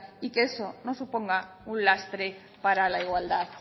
y que eso no suponga un lastre para la igualdad